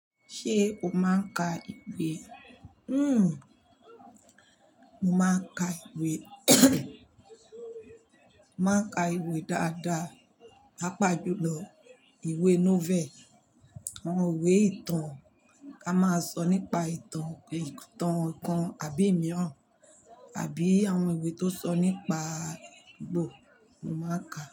Ṣé o máa ń ka ìwé? Hmm, mo máa ń ka ìwé. Mo máa ń ka ìwé dáadáa, pàápàá jùlọ ìwé novel, àwọn ìwé ìtàn. A máa sọ nípa ìtàn, ìtàn kan àbí imìíràn, àbí àwọn ìwé tó sọ nípa gbò, mo máa ń ka.